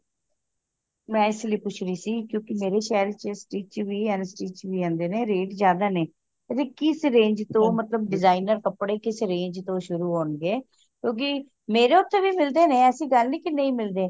ਮੈਂ ਇਸਲਯੀ ਪੁੱਛ ਰਹੀ ਸੀ ਕਿਉਂਕਿ ਮੇਰੇ ਸ਼ਹਿਰ ਚ stich ਵੀ unstitch ਹੁੰਦੇ ਨੇ rate ਜ਼ਿਆਦਾ ਨੇ ਤੇ ਕਿਸ range ਤੋਂ ਮਤਲਬ designer ਕਪੜੇ ਕਿਸ range ਤੋਂ ਸ਼ੁਰੂ ਹੋਣ ਗੇ ਕਿਉਂਕਿ ਮੇਰੇ ਉਥੇ ਵੀ ਮਿਲਦੇ ਨੇ ਐਸੀ ਗੱਲ ਨਹੀਂ ਕਿ ਨਹੀਂ ਮਿਲਦੇ